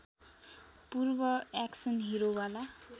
पूर्व एक्सन हिरोवाला